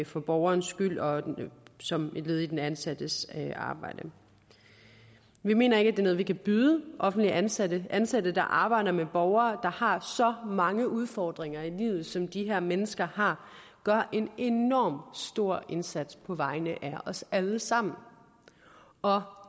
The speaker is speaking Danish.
for borgerens skyld og som et led i den ansattes arbejde vi mener ikke noget vi kan byde offentligt ansatte det ansatte der arbejder med borgere der har så mange udfordringer i livet som de her mennesker har og gør en enorm stor indsats på vegne af os alle sammen og